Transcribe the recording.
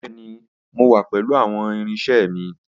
Bẹẹni, Mo wa pẹlu awọn irinṣẹ mi.